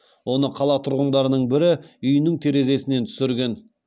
оны қала тұрғындарының бірі үйінің терезесінен түсірген